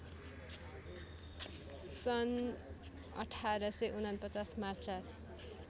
सन् १८४९ मार्च ४